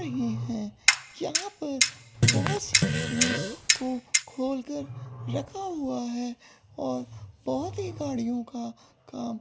नहीं है यहां पर बहोत सी गाड़ियों को खोलकर रखा हुआ है और बहुत ही गाड़ियों का काम--